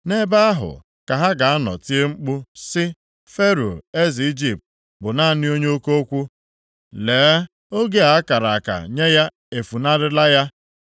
Nʼebe ahụ ka ha ga-anọ tie mkpu sị, ‘Fero eze Ijipt bụ naanị onye oke okwu. Lee, oge a kara aka nye ya efunarịla ya.’